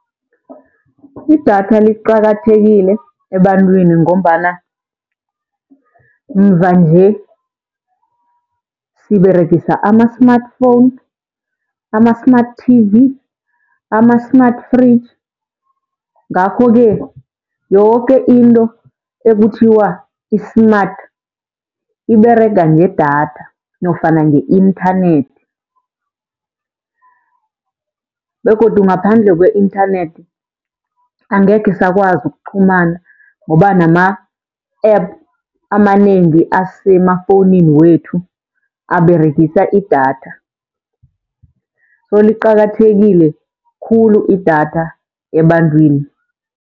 Idatha liqakathekile ebantwini, ngombana mvanje siberegisa ama-smartphone, ama-smart T_V, ama-smart fridge. Ngakho-ke yoke into ekuthiwa i-smart iberega ngedatha, nofana nge-inthanethi. Begodu ngaphandle kwe-inthanethi angekhe sakwazi ukuqhumana ngoba nama-app amanengi asemafowunini wethu aberegisa idatha. So liqakathekile khulu idatha ebantwini.